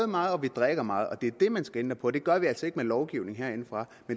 meget og drikker meget og det er det man skal ændre på det gør vi altså ikke med lovgivning herindefra